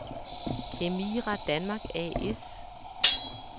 Kemira Danmark A/S